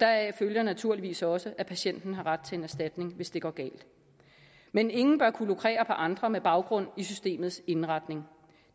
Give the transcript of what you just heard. deraf følger naturligvis også at patienten har ret til erstatning hvis det går galt men ingen bør kunne lukrere på andre med baggrund i systemets indretning